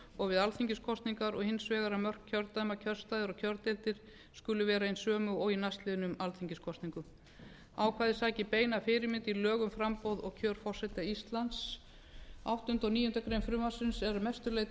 og við alþingiskosningar og hins vegar um mörk kjördæma kjörstaða og kjördeildir skuli vera hin sömu og í næstliðnum alþingiskosningum ákvæðið sækir beina fyrirmynd í lög um framboð og kjör forseta íslands áttunda og níundu grein frumvarpsins eru að mestu leyti